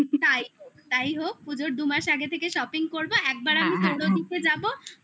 তাই তাই হোক পুজোর দু মাস আগে থেকে shopping করবো একবার আমি যাবো